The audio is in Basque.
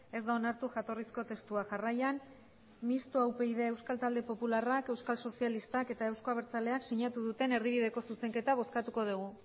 ez da onartu jatorrizko testua jarraian mistoa upyd euskal talde popularrak euskal sozialistak eta euzko abertzaleak sinatu duten erdibideko zuzenketa bozkatuko dugu